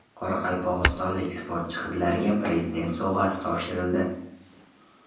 Qoraqalpog‘istonlik sportchi qizlarga Prezident sovg‘asi topshirildi.